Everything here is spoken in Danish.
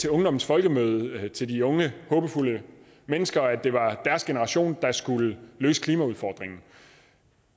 ungdommens folkemøde sagde til de unge håbefulde mennesker at det var deres generation der skulle løse klimaudfordringen